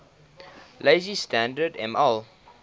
lazy standard ml